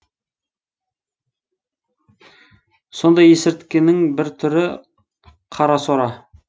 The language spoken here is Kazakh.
сондай есірткінің бір түрі қарасора